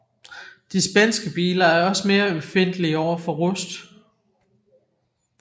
De spanske biler er også mere ømfindtlige over for rust